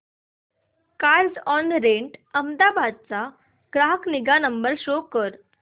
Carzonrent Ahmedabad चा ग्राहक निगा नंबर शो कर